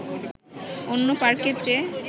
অন্য পার্কের চেয়ে